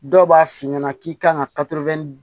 Dɔw b'a f'i ɲɛna k'i kan ka